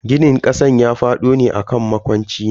Ginin kasan ya fado ne akan makocina.